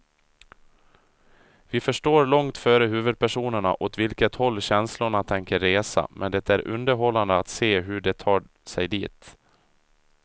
Vi förstår långt före huvudpersonerna åt vilket håll känslorna tänker resa, men det är underhållande att se hur de tar sig dit.